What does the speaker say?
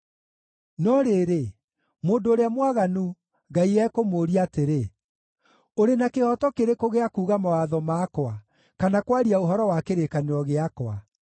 No rĩrĩ, mũndũ ũrĩa mwaganu Ngai ekũmũũria atĩrĩ: “Ũrĩ na kĩhooto kĩrĩkũ gĩa kuuga mawatho makwa, kana kwaria ũhoro wa kĩrĩkanĩro gĩakwa?